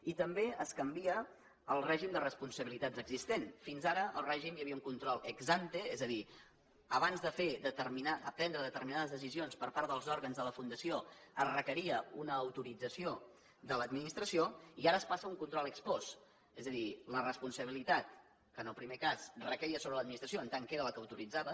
i també es canvia el règim de responsabilitats existent fins ara al règim hi havia un control ex ante és a dir abans de prendre determinades decisions per part dels òrgans de la fundació es requeria una autorització de l’administració i ara es passa a un control ex post és a dir la responsabilitat que en el primer cas requeia sobre l’administració en tant que era la que ho autoritzava